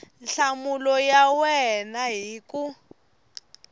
nhlamulo ya wena hi ku